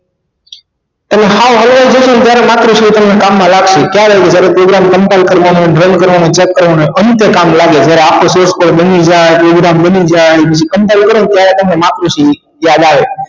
તમે હાવ હલવાઈ જશો ને ત્યારે માતૃશ્રી તમને કામ માં લાગશે ત્યારે જ્યારે program compine કરવાનો run કરવાનો check કરવાનો ત્યારે કામ લાગે જ્યારે આપણે shape બની જાય program બની જાય પછી compine કરો ત્યારે તમારે માતૃશ્રી યાદ આવે